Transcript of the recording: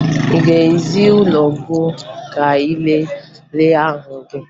Ị ga-eje ụlọọgwụ ka ị lelee ahụ gị